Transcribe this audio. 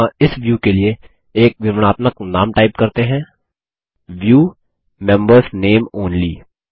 यहाँइस view के लिए एक विवरणात्मक नाम टाइप करते हैं View मेंबर्स नामे ओनली